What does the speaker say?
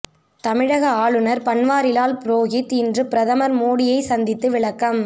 தமிழக ஆளுநர் பன்வாரிலால் புரோஹித் இன்று பிரதமர் மோடியை சந்தித்து விளக்கம்